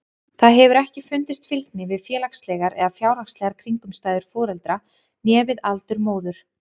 Þá hefur ekki fundist fylgni við félagslegar eða fjárhagslegar kringumstæður foreldra né við aldur móður.